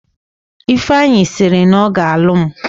Ifeanyi sịrị na ọ ga alụ m